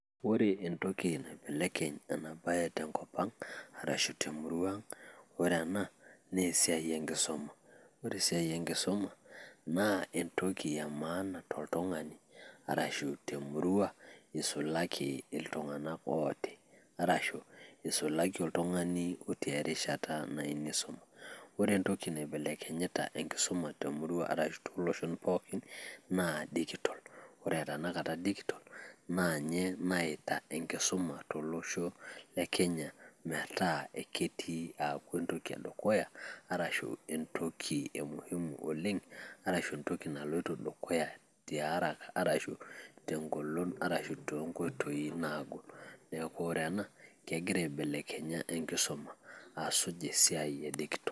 Ore entoki naibelekeny ena bae tenkop ang arashu te murua ang, naa ore ena naa esiai e nkisuma. Ore esiai e nkisuma naa entoki e maana toltung`ani, arashu te murua neisulaki iltung`anak ooti arashu, neisulaki oltung`ani otii erishata nayieu neisuma. Ore entoki naibelekintita enkisuma te murua ashu too loshon pookin naa digital. Ore tenakata digital naa ninye naeta enkisuma to losho le Kenya metaa ketii aaku entoki e dukuya, arashu entoki e muhimu oleng, arashu entoki naloito dukuya te haraka, arashu te ng`olon arashu too nkoitoi naagol. Niaku ore ena kegira aibelekenya enkisuma aasuj esiai e digital.